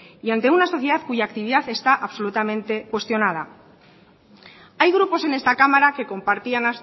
y ante una sociedad cuya actividad está absolutamente cuestionada hay grupos en esta cámara que compartían